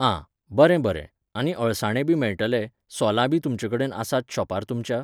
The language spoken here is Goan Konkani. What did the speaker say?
आं, बरें बरें, आनी अळसाणेबी मेळटले, सोलांबी तुमचेकडेन आसात शॉपार तुमच्या?